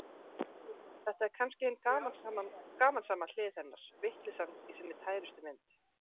Þetta er kannski hin gamansama hlið hennar, vitleysan í sinni tærustu mynd.